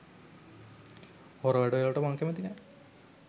හොර වැඩවලට මං කැමැති නෑ.